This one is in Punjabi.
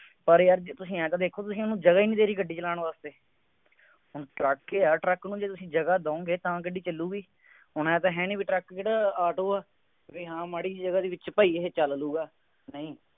ਪਰ ਇਹ ਆ ਕਿ ਤੁਸੀਂ ਆਂਏਂ ਤਾਂ ਦੇਖੋ ਤੁਸੀਂ ਉਹਨੂੰ ਜਗ੍ਹਾ ਹੀ ਨਹੀਂ ਦੇ ਰਹੇ ਗੱਡੀ ਚਲਾਉਣ ਵਾਸਤੇ ਹਾਂ ਟਰੱਕ ਆ, ਟਰੱਕ ਨੂੰ ਜੇ ਤੁਸੀਂ ਜਗ੍ਹਾ ਦੇਉਂਗੇ ਤਾਂ ਗੱਡੀ ਚੱਲੂਗੀ। ਹੁਣ ਆਂਏਂ ਤਾਂ ਹੈ ਨਹੀਂ ਬਈ ਟਰੱਕ ਦੀ ਥਾਂ ਆਟੋ ਆ। ਬਈ ਹਾਂ ਮਾੜੀ ਜਿਹੀ ਜਗ੍ਹਾ ਦੇ ਵਿੱਚ ਇਹ ਭਾਈ ਚੱਲ ਜਾਊਗਾ।